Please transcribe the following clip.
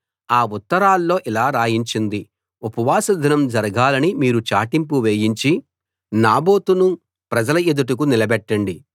ఆ ఉత్తరాల్లో ఇలా రాయించింది ఉపవాస దినం జరగాలని మీరు చాటింపు వేయించి నాబోతును ప్రజల ఎదుట నిలబెట్టండి